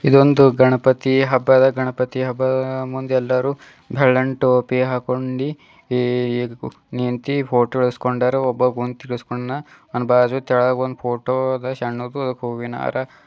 ಇದೊಂದು ಗಣಪತಿ ಹಬ್ಬದ ಗಣಪತಿ ಹಬ್ಬದ ಮುಂದೆ ಎಲ್ಲರೂ ಬೆಳ್ಳನ್ ಟೋಪಿ ಹಾಕ್ಕೊಂಡಿ ನಿಂತಿ ಫೋಟೋ ಇಡ್ಸ್ಕೊಂಡರ ಒಬ್ಬ ಕುಂತಿ ಇಡ್ಸ್ ಕೊಂಡನ ಅವ್ನ ಬಾಜು ಕೆಳಗ ಒಂದು ಫೋಟೋ ಆದ ಸನ್ನುದ ಒಂದ್ ಹೂವಿನ್ಹಾರ --